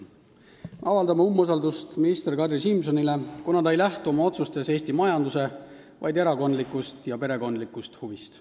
Me avaldame umbusaldust minister Kadri Simsonile, kuna ta ei lähtu oma otsustes mitte Eesti majanduse, vaid erakondlikust ja perekondlikust huvist.